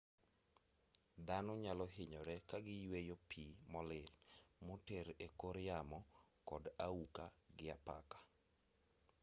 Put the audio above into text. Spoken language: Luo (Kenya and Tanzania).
dhano nyalohinyore kagiyueyo pii molil moter ekor yamo kod auka gi apaka